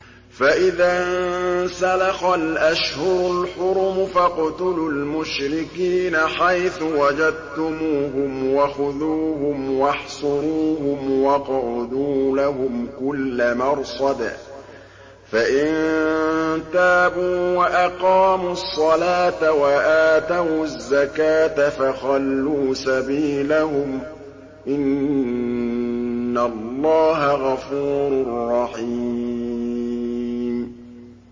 فَإِذَا انسَلَخَ الْأَشْهُرُ الْحُرُمُ فَاقْتُلُوا الْمُشْرِكِينَ حَيْثُ وَجَدتُّمُوهُمْ وَخُذُوهُمْ وَاحْصُرُوهُمْ وَاقْعُدُوا لَهُمْ كُلَّ مَرْصَدٍ ۚ فَإِن تَابُوا وَأَقَامُوا الصَّلَاةَ وَآتَوُا الزَّكَاةَ فَخَلُّوا سَبِيلَهُمْ ۚ إِنَّ اللَّهَ غَفُورٌ رَّحِيمٌ